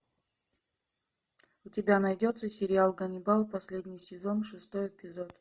у тебя найдется сериал ганнибал последний сезон шестой эпизод